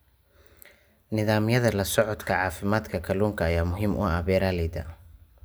Nidaamyada la socodka caafimaadka kalluunka ayaa muhiim u ah beeralayda.